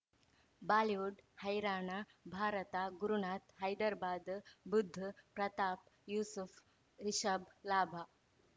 Bollywood ಹೈರಾಣ Bharat Gurunath Hyderabad Budh Pratap Yusuf Rishabh ಲಾಭ